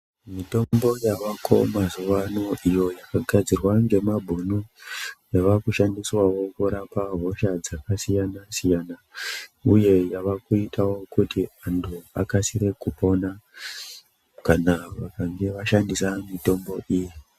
Mitombo yavako mazuwana iyo yakagadzirwa ngemabhunu yavakushandiswawo kurapa hosha dzakasiyana siyana uye yava kuiyawo kuti antu akasire kupora kana vakange vashandisa mitombo iyi